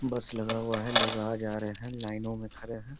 बस लगा हुआ है लोग आ जा रहे हैं लाइनो में खड़े हैं।